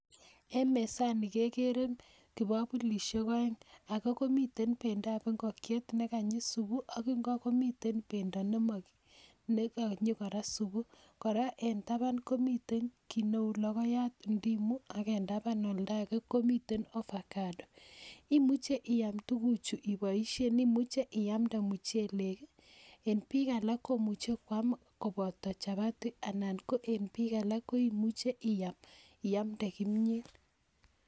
en mezaani kegere kigogulisiek oeng age komiten pendo ab ngokyet neganyi subuu ok ingo komiten pendo neganyi koraa supuu, koraa en taban komiten kiit neuu logoyat ak en taban oldo agee komiten ovacado, imuche iaam tuguk chu iboisien imuche iamde muchelek en biik alak komuche kwaam koboto chabati anan ko en biik alak koimuche iaam iande kimyeet .